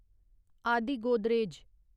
आदि गोदरेज